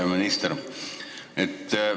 Hea minister!